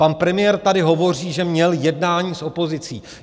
Pan premiér tady hovoří, že měl jednání s opozicí.